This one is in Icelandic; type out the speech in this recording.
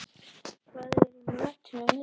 Edel, hvað er í matinn á miðvikudaginn?